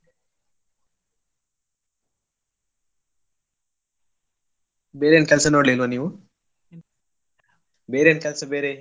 ಬೇರೆ ಏನ್ ಕೆಲ್ಸ ನೋಡಲಿಲ್ವಾ ನೀವು? ಬೇರೆ ಎನ್ ಕೆಲ್ಸ ಬೇರೆ.